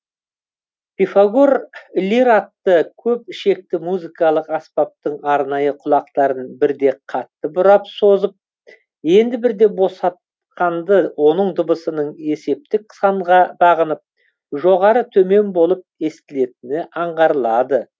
пифагор лир атты көп ішекті музыкалық аспаптың арнайы құлақтарын бірде қатты бұрап созып енді бірде босатқанды оның дыбысының есептік санға бағынып жоғары төмен болып естілетіні аңғарылады